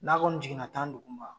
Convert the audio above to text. N'a kɔni jiginna tan duguma